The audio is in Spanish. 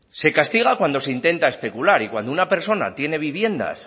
se castiga cuando se intenta especular y cuando una persona tiene viviendas